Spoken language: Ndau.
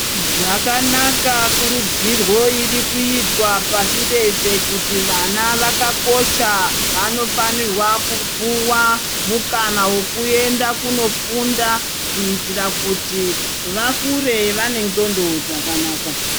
Zvakanaka kurudzirwo irikuitwa pashi reshe kuti vana vakakosha vanofanirwa kupuwa mukana wokuenda kunofunda. Kuitira kuti vakure vane ndxondo dzakanaka.